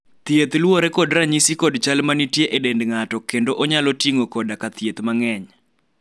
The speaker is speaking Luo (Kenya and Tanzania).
thieth luwore kod ranyisi kod chal manitie e dend ng'ato kendo onyalo ting'o koda ka thieth mang'eny